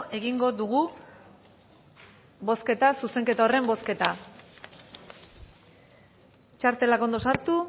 egingo dugu bozketa zuzenketa horren bozketa txartelak ondo sartu